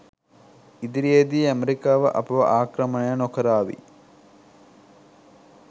ඉදිරියේදී ඇමෙරිකාව අපව ආක්‍රමණය නොකරාවි